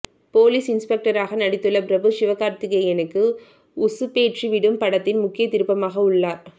police இன்ஸ்பெக்டராக நடித்துள்ள பிரபு சிவகார்த்திகேயனுக்கு உசுப்பேற்றி விடும் படத்தின் முக்கிய திருப்பமாக உள்ளார்